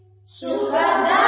Sukhdanboordaanmataram